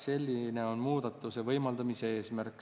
Selline on muudatuse võimaldamise eesmärk.